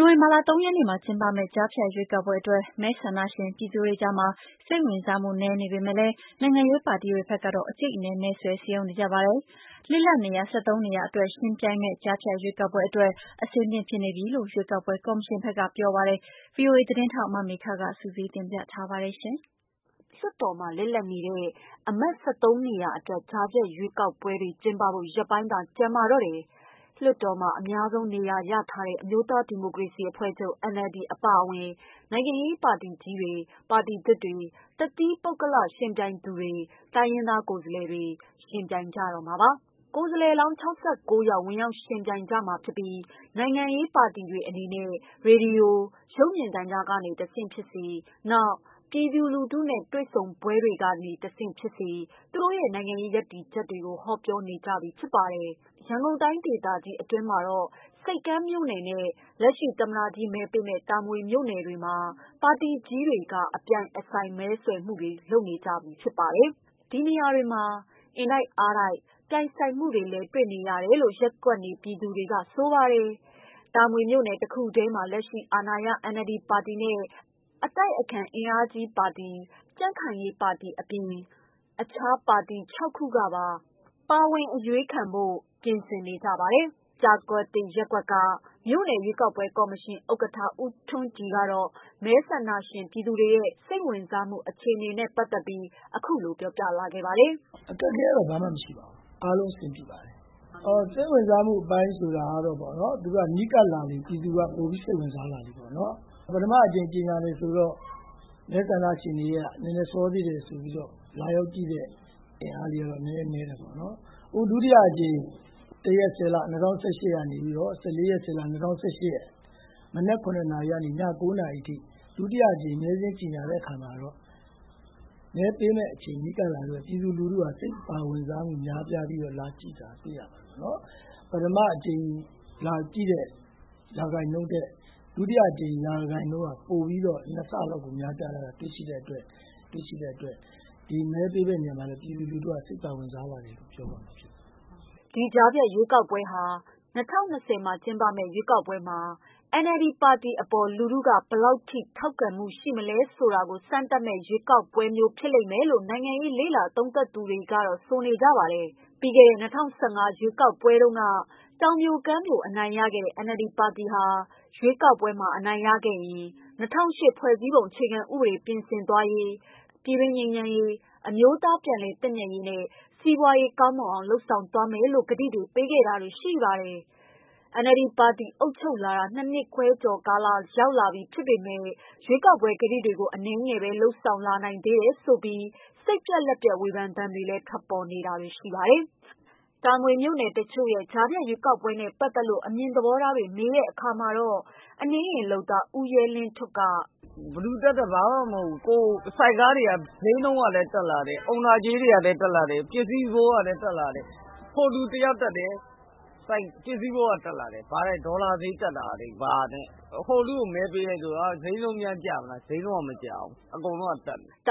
နိုဝင်ဘာလ ၃ ရက်နေ့ ကျင်းပမယ့် ကြားဖြတ်ရွေးကောက်ပွဲအတွက် မဲဆန္ဒရှင် ပြည်သူတွေကြားမှာ စိတ်ဝင်စားမှု နည်းပေမဲ့လည်း နိုင်ငံရေးပါတီတွေကတော့ အကြိတ်အနယ် မဲဆွယ်စည်းရုံးနေကြပါတယ်။ လစ်လပ်နေရာ ၁၃ နေရာ ယှဉ်ပြိုင်မယ့် ကြားဖြတ်ရွေးကောက်ပွဲအတွက် အဆင်သင့်ဖြစ်နေပြီလို့ ရွေးကောက်ပွဲ ကော်မရှင်ဘက်က ပြောပါတယ်။ ဗွီအိုအေ သတင်းထောက် မမေခက စုစည်းတင်ပြထားပါတယ်။ လွှတ်တော်မှာ လစ်လပ်နေတဲ့ အမတ် နေရာ ၁၃ နေရာအတွက် ကြားဖြတ်ရွေးကောက်ပွဲတွေ ကျင်းပဖို့ ရက်ပိုင်းသာ ကျန်ပါတော့တယ်။ လွှတ်တော်မှာ အများဆုံးနေရာရထားတဲ့ အမျိုးသားဒီမိုကရေစီအဖွဲ့ချုပ် အပါအဝင် နိုင်ငံရေး ပါတီကြီးတွေ၊ ပါတီသစ်တွေ၊ တသီးပုဂ္ဂလယှဉ်ပြိုင်သူတွေ၊ တိုင်းရင်းသား ကိုယ်စားလှယ်တွေ ယှဉ်ပြိုင်ကြမှာပါ။ ကိုယ်စားလှယ်လောင်း ယောက် ဝင်ရောက်ယှဉ်ပြိုင်ကြမှာဖြစ်ပြီး နိုင်ငံရေးပါတီတွေအနေနဲ့၊ ရေဒီယို ရုပ်မြင်သံကြားကတဆင့် ဖြစ်စေ၊ နောက် လူထုနဲ့ တွေ့ဆုံပွဲတွေကတဆင့် ဖြစ်စေ သူတို့ရဲ့ နိုင်ငံရေး ရပ်တည်ချက်တွေကို ဟောပြောနေကြပြီ ဖြစ်ပါတယ်။ ရန်ကုန်တိုင်းဒေသကြီး အတွင်းမှာတော့ ဆိပ်ကမ်းမြို့နယ်နဲ့ လက်ရှိသမ္မတကြီး မဲပေးမယ့် တာမွေမြို့နယ်တွေမှာ ပါတီကြီးတွေ ကအပြိုင်အဆိုင်မဲဆွယ်နေကြပါတယ်။ ဒီနေရာတွေမှာ အင်တိုက်အားတိုက်ပြိုင်ဆိုင်လာမှုတွေလည်းတွေ့နေရတယ်လို့ ရပ်ကွက်နေပြည် သူတွေကဆိုပါတယ်။ တာမွေမြို့နယ် တခုတည်းမှာ လက်ရှိအာဏာရပါတီ NLD နဲ့ အတိုက်အခံ အင်အားကြီးပါတီတွေအပြင် အခြားပါတီ ၆ ခုကပါ ပါဝင်ရွေးခံဖို့ ပြင်ဆင်နေပါတယ်။ ကျားကွက်သစ် ရပ်ကွက်က မြို့နယ်ရွေးကောက်ပွဲကော်မရှင် ဥက္ကဌ ဦးထွန်းကြည်ကတော့ မဲဆန္ဒရှင်ပြည်သူတွေရဲ့ စိတ်ဝင်စားမှု အခြေအနေကို အခုလို ပြောပြပါတယ်။ "အခက်အခဲကတော့ ဘာမှမရှိပါဘူး။ အားလုံးအဆင်ပြေပါတယ်။ စိတ်ဝင်စားမှုအပိုင်းကတော့ နီးကပ်လာလေ ပြည်သူကပိုစိတ်ဝင် စားလာလေပေါ့နော်။ ပထမအကြိမ်ကြေညာတုန်းကမဲဆန္ဒရှင်တွေက စောသေးတယ်ဆိုပြီး လာရောက်ကြည့်တယ်ဆိုတာနည်းတယ် ပေါ့နော်။ ဒုတိယအကြိမ်ကတော့ ၁.၁၀. ၂၀၁၈ ကနေ ၁၄ရက်နေ့အထိ ကတော့ပြည်သူလူထုက ပထမအကြိမ် လာကြည့်တုန်းကထက် စိတ်ပါဝင်စားပြီး ပထမကြိမ်ထက် ဒုကြိမ်လာကြည့်တာ ၂ဆလောက်ပိုများလာလို့ ပြည်သူလူထုက စိတ်ပါဝင်စားလာတယ်လို့ပြောရမှာ ဖြစ်ပါတယ်" ဒီ ကြားဖြတ်ရွေးကောက်ပွဲဟာ ၂၀၂၀ မှာကျင်းပမယ့် ရွေးကောက်ပွဲမှာ NLD ပါတီအပေါ် လူထုက ဘယ် လောက်ထိ ထောက်ခံမှု ရှိမလဲ ဆိုတာကို စမ်းသပ်မယ့် ရွေးကောက်ပွဲမျိုး ဖြစ်လိမ့်မယ်လို့လည်း နိုင်ငံရေးလေ့လာ သုံး သပ်သူ တွေကဆိုနေကြပါတယ်။ ပြီးခဲ့တဲ့ ၂၀၁၅ ရွေးကောက်ပွဲမှာတုန်းက တောင်ပြိုကမ်းပြို အနိုင်ရခဲ့တဲ့ NLD ပါတီဟာ ရွေးကောက်ပွဲမှာ အနိုင်ရခဲ့ရင် ၂၀၀၈ ဖွဲ့စည်းပုံအခြေခံ ဥပဒေ ပြင်ဆင်သွားရေး၊ ပြည်တွင်းငြိမ်းချမ်းရေး အမျိုးသားပြန်လည်သင့်မြတ်ရေးနဲ့ စီးပွားရေး ကောင်းမွန်အောင် လုပ်ဆောင်သွားမယ်လို့ ကတိတွေ ပေးခဲ့တာပါ။ NLD ပါတီအုပ်ချုပ်လာတာ ၂နှစ်ခွဲလောက် ရှိလာပြီဖြစ်ပေမယ့် ရွေးကောက်ပွဲ ကတိတွေကို အနည်းငယ်ပဲ လုပ်ဆောင် နိုင်သေးတယ်ဆိုပြီး စိတ်ပျက်လက်ပျက် ဝေဖန်သံတွေလည်း ထွက်ပေါ်နေပါတယ်။ တာမွေမြို့ခံတချို့ရဲ့ ကြားဖြတ် ရွေးကောက်ပွဲနဲ့ ပတ်သက်လို့ အမြင်သဘောထားတွေကို မေးကြည့်တဲ့အခါ အနှေးယာဉ်လုပ်သား ဦးရဲလင်းထွဋ် က "ဆန္ဒတော့မရှိဘူး။ ဘယ်သူတက်တက်ဘာမှမဟုတ်ဘူး။ ဆိုက်ကားတွေက ဈေးလည်းတက် အုံနာကြေးတွေလည်းတက်လာတယ်။ ဟိုလူတယောက် တက်လည်း ဒေါ်လာဈေးတက်တာနဲ့ ဘာနဲ့ ။ဟိုလူကိုမဲပေးလည်းဈေးကမကျဘူး။ ပစ္စည်းဈေးလည်းမကျဘူး "